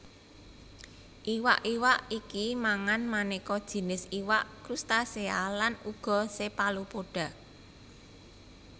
Iwak iwak iki mangan manéka jinis iwak krustasea lan uga cephalopoda